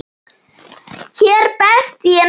Hér best ég næ.